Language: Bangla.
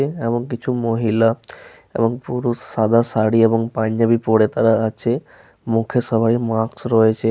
এবং কিছু মহিলা এবং পুরুষ সাদা শাড়ি এবং পাঞ্জাবি পরে তারা আছে। মুখে সবারই মাস্ক রয়েছে।